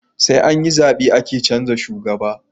Sai anyi zabe ake canza shugaba